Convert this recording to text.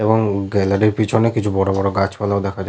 এবং গ্যালারি র পেছনে কিছু বড়বড় গাছপালাও দেখা যা --